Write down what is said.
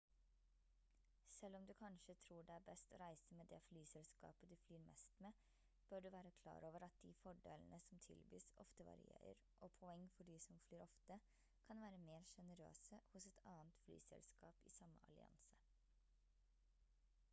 selv om du kanskje tror det er best å reise med det flyselskapet du flyr mest med bør du være klar over at de fordelene som tilbys ofte varierer og poeng for de som flyr ofte kan være mer sjenerøse hos et annet flyselskap i samme allianse